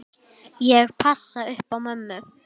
Ég passa upp á mömmu.